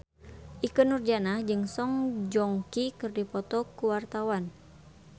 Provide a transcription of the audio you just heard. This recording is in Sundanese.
Ikke Nurjanah jeung Song Joong Ki keur dipoto ku wartawan